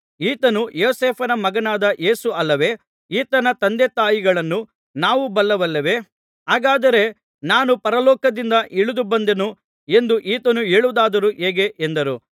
ಈತನು ಯೋಸೇಫನ ಮಗನಾದ ಯೇಸು ಅಲ್ಲವೇ ಈತನ ತಂದೆ ತಾಯಿಗಳನ್ನು ನಾವು ಬಲ್ಲೆವಲ್ಲವೇ ಹಾಗಾದರೆ ನಾನು ಪರಲೋಕದಿಂದ ಇಳಿದು ಬಂದೆನು ಎಂದು ಈತನು ಹೇಳುವುದಾದರೂ ಹೇಗೆ ಎಂದರು